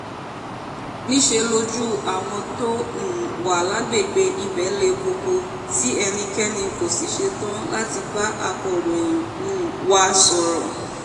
níṣẹ́ lojú àwọn tó um wà lágbègbè ibẹ̀ le koko tí ẹnikẹ́ni kò sì ṣetán láti bá akọ̀ròyìn um wa sọ̀rọ̀